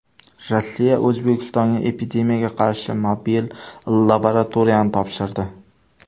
Rossiya O‘zbekistonga epidemiyaga qarshi mobil laboratoriyani topshirdi.